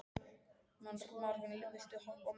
Marvin, viltu hoppa með mér?